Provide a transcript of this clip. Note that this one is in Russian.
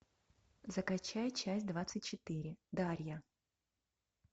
закачай часть двадцать четыре дарья